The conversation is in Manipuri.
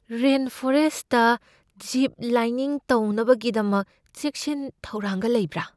ꯔꯦꯟꯐꯣꯔꯦꯁꯠꯇ ꯖꯤꯞ ꯂꯥꯏꯅꯤꯡ ꯇꯧꯅꯕꯒꯤꯗꯃꯛ ꯆꯦꯛꯁꯤꯟ ꯊꯧꯔꯥꯡꯒ ꯂꯩꯕ꯭ꯔꯥ?